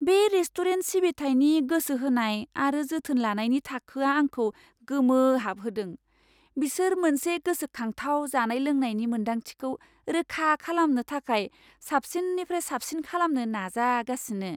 बे रेस्टुरेन्ट सिबिथायनि गोसो होनाय आरो जोथोन लानायनि थाखोआ आंखौ गोमोहाबहोदों, बिसोर मोनसे गोसोखांथाव जानाय लोंनायनि मोन्दांथिखौ रोखा खालामनो थाखाय साबसिननिफ्राय साबसिन खालामनो नाजागासिनो!